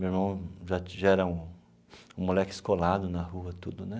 Meu irmão já já era um um moleque escolado na rua tudo né.